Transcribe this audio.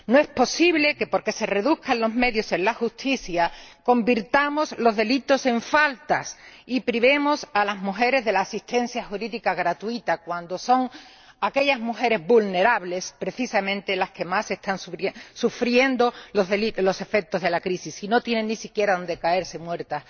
No es posible que, porque se reduzcan los medios en la justicia, convirtamos los delitos en faltas y privemos a las mujeres de la asistencia jurídica gratuita, cuando son las mujeres vulnerables precisamente las que más están sufriendo los efectos de la crisis y no tienen ni siquiera donde caerse muertas.